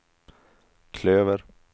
klöver